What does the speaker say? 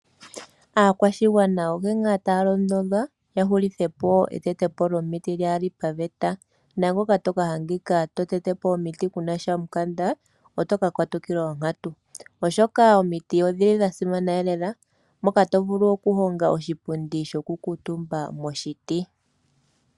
Aakwashigwana onkene ngaa taya londodhwa, ya hulithepo oku tetapo omiti kaakuli paveta, naangoka ta ka adhika ta tetepo omiti keena omikanda ota ka katukilwa onkantu, oshoka omiti odha simana lela, moka omut=ntu ta vulu oku honga oshipundi sho kukuutumba.